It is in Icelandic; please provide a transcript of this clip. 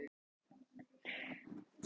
Horfa hérna framhjá!